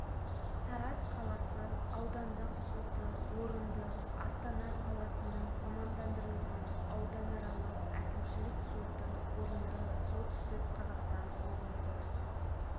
тараз қаласы аудандық соты орынды астана қаласының мамандандырылған ауданаралық әкімшілік соты орынды солтүстік қазақстан облысы